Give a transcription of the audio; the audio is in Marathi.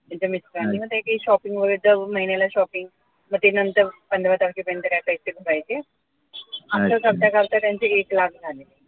त्यांच्या mister रांनी आणि मग काही shopping वगैरे दार महिन्याला shopping मग ते नंतर पंधरा तारखेपर्यंत काय पैसे भरायचे आता सध्या करता त्यांचे एक लाख झाले.